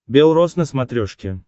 бел рос на смотрешке